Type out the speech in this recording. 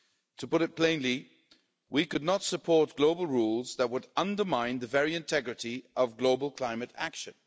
To put it plainly, we could not support global rules that would undermine the very integrity of global climate action.